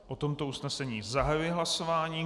O tomto usnesení zahajuji hlasování.